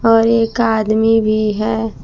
और एक आदमी भी है।